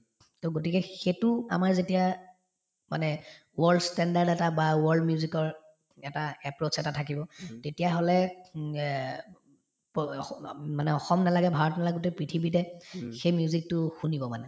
to গতিকে সেইটো আমাৰ যেতিয়া মানে world standard এটা বা world music ৰ এটা approach এটা থাকিব তেতিয়াহলে উম এ প অস অ মানে অসম নেলাগে ভাৰত নেলাগে গোটেই পৃথিৱীতে সেই music তো শুনিব মানে